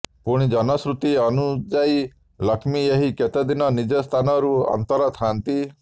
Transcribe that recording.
ପୁଣି ଜନଶ୍ରୁତି ଅନୁଯାୟୀ ଲଷ୍ମୀ ଏହି କେତେଦିନ ନିଜ ସ୍ଥାନ ରୁ ଅନ୍ତର ଥାଆନ୍ତି